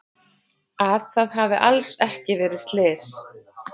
Að það hafi alls ekki verið slys.